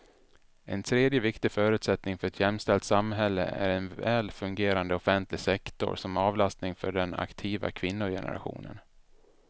En tredje viktig förutsättning för ett jämställt samhälle är en väl fungerande offentlig sektor som avlastning för den aktiva kvinnogenerationen.